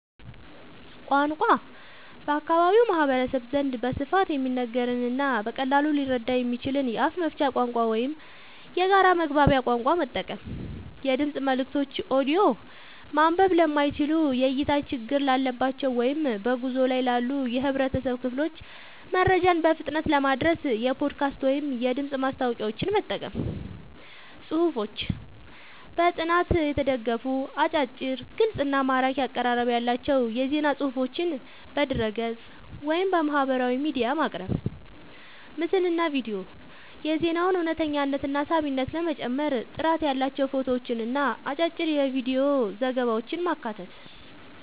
ቋንቋ፦ በአካባቢው ማህበረሰብ ዘንድ በስፋት የሚነገርንና በቀላሉ ሊረዳ የሚችልን የአፍ መፍቻ ቋንቋ ወይም የጋራ መግባቢያ ቋንቋ መጠቀም። የድምፅ መልእክቶች (ኦዲዮ)፦ ማንበብ ለማይችሉ፣ የእይታ ችግር ላለባቸው ወይም በጉዞ ላይ ላሉ የህብረተሰብ ክፍሎች መረጃን በፍጥነት ለማድረስ የፖድካስት ወይም የድምፅ ማስታወቂያዎችን መጠቀም። ጽሁፎች፦ በጥናት የተደገፉ፣ አጫጭር፣ ግልጽ እና ማራኪ አቀራረብ ያላቸው የዜና ፅሁፎችን በድረ-ገጽ፣ ወይም በማህበራዊ ሚዲያ ማቅረብ። ምስልና ቪዲዮ፦ የዜናውን እውነተኝነትና ሳቢነት ለመጨመር ጥራት ያላቸው ፎቶዎችንና አጫጭር የቪዲዮ ዘገባዎችን ማካተት።